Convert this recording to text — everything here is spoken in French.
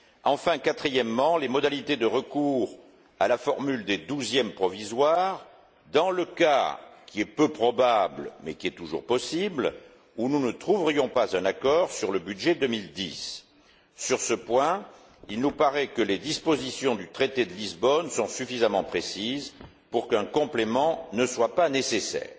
Enfin, quatrièmement, les modalités de recours à la formule des douzièmes provisoires, dans le cas, qui est peu probable mais qui est toujours possible, où nous ne trouverions pas un accord sur le budget 2010 sur ce point, il nous paraît que les dispositions du traité de Lisbonne sont suffisamment précises pour qu'un complément ne soit pas nécessaire.